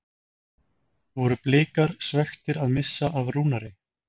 Voru Blikar svekktir að missa af Rúnari?